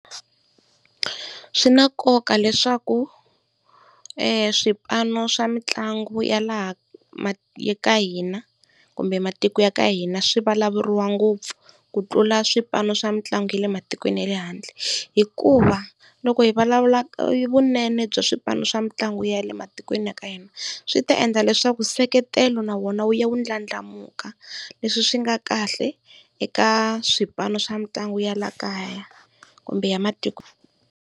Swi na nkoka leswaku eswipano swa mitlangu ya laha ka hina kumbe matiko ya ka hina swi vulavuriwa ngopfu, ku tlula swipano swa mitlangu ya le matikweni ya le handle. Hikuva loko hi vulavula vunene bya swipano swa mitlangu ya le matikweni ya ka hina swi ta endla leswaku seketelo na wona wu ya wu ndlandlamuka leswi swi nga kahle eka swipano swa mitlangu ya le kaya kumbe ya matiko.